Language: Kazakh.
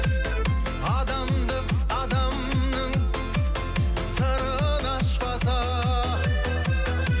адамдық адамның сырын ашпаса